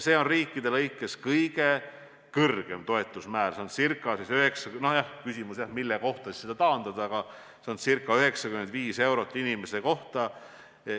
See on riikide lõikes suhteliselt kõrgeim toetusmäär, ca 95 eurot inimese kohta.